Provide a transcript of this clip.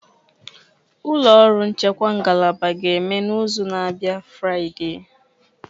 Ụlọ ọrụ nchekwa ngalaba ga-eme n'izu na-abịa Friday